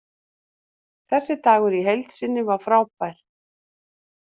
Þessi dagur í heild sinni var frábær.